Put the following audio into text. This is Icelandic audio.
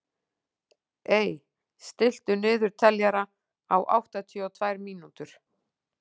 Ey, stilltu niðurteljara á áttatíu og tvær mínútur.